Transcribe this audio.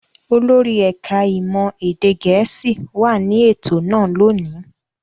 Olórí ẹ̀ka-ìmọ̀ èdè Gẹ̀ẹ́sì wà ní ètò náà lónìí.